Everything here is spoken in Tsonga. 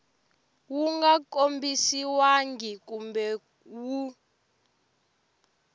wu nga kombisiwangi kumbe wu